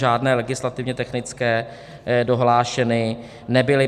Žádné legislativně technické dohlášeny nebyly.